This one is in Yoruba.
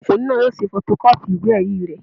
Ọmọkùnrin náà yóò ṣe fọtọkọ́pì ìwé-ẹ̀rí rẹ̀